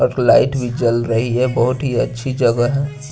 एक लाईट जल रही है बहोत ही अच्छी जगह है।